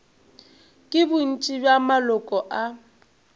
ke bontši bja maloko a